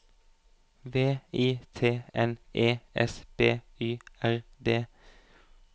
V I T N E S B Y R D